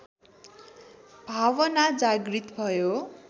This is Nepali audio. भावना जागृत भयो